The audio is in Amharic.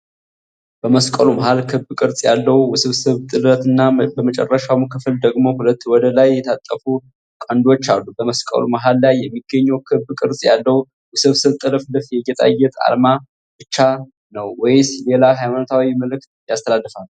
በመስቀሉ መሃል ክብ ቅርጽ ያለው ውስብስብ ጥለትና በመጨረሻው ክፍል ደግሞ ሁለት ወደ ላይ የታጠፉ ቀንዶች አሉ። በመስቀሉ መሃል ላይ የሚገኘው ክብ ቅርጽ ያለው ውስብስብ ጥልፍልፍ የጌጣጌጥ ዓላማ ብቻ ነው ወይስ ሌላ ሃይማኖታዊ መልዕክት ያስተላልፋል?